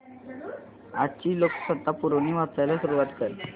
आजची लोकसत्ता पुरवणी वाचायला सुरुवात कर